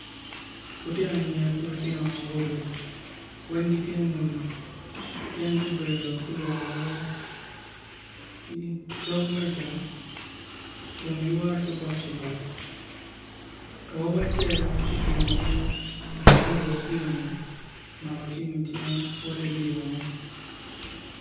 Lutino anyira ki lutino awobe, weng gitye muni gin gubedo gulwore i dog meca kun giwoto ki boko lok, awobi acel ki kingi ma oruko kiyo ni, omako cim i cinge wot idiyone.